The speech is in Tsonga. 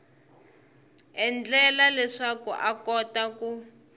endlela leswaku a kota ku